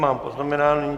Mám poznamenáno.